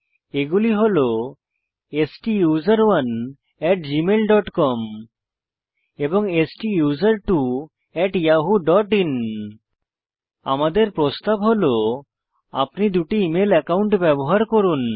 এগুলি হল STUSERONEgmailcom STUSERTWOyahooin আমাদের প্রস্তাব হল আপনি দুটি ইমেল অ্যাকাউন্ট ব্যবহার করুন